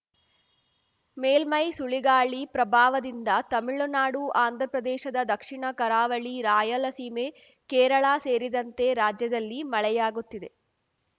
ಮೇಲ್ಮೈ ಸುಳಿಗಾಳಿ ಪ್ರಭಾವದಿಂದ ತಮಿಳುನಾಡು ಆಂಧ್ರಪ್ರದೇಶದ ದಕ್ಷಿಣ ಕರಾವಳಿ ರಾಯಲಸೀಮೆ ಕೇರಳ ಸೇರಿದಂತೆ ರಾಜ್ಯದಲ್ಲಿ ಮಳೆಯಾಗುತ್ತಿದೆ